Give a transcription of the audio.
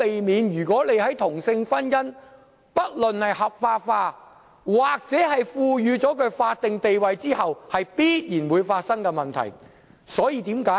不論同性婚姻是合法化，還是獲賦予法定地位，這是必然會產生的問題，我們無可避免要面對。